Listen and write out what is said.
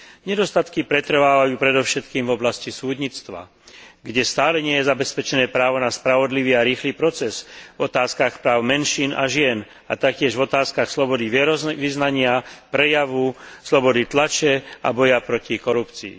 Nedostatky pretrvávajú predovšetkým v oblasti súdnictva, kde stále nie je zabezpečené právo na spravodlivý a rýchly proces, v otázkach práv menšín a žien a taktiež v otázkach slobody vierovyznania, prejavu, slobody tlače a boja proti korupcii.